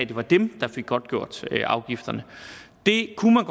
det var dem der fik godtgjort afgifterne det kunne